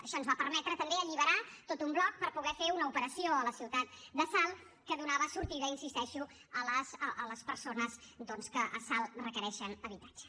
això ens va permetre també alliberar tot un bloc per poder fer una operació a la ciutat de salt que donava sortida hi insisteixo a les persones doncs que a salt requereixen habitatge